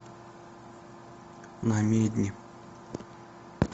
намедни